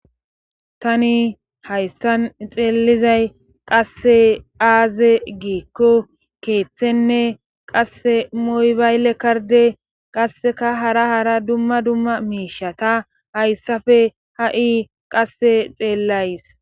tani hayssan ixeelizay qasse aaze giikko keeththenne qasse moybayle karde qasseka hara hara dumma dumma miishata hayssafe ha7i qasse xeellays